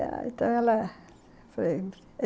Então ela...